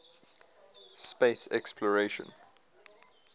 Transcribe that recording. space exploration